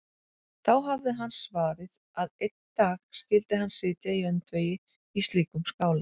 Þá hafði hann svarið að einn dag skyldi hann sitja í öndvegi í slíkum skála.